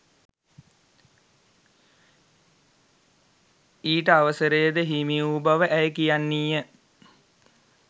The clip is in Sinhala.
ඊට අවසරයද හිමිවූ බව ඇය කියන්නීය.